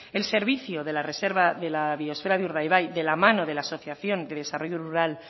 el servicio de la reserva de la biosfera de urdaibai de la mano de la asociación de desarrollo rural